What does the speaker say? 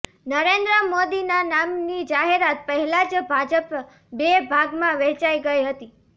નરેન્દ્ર મોદીના નામની જાહેરાત પહેલા જ ભાજપ બે ભાગમાં વહેંચાઈ ગઈ હતી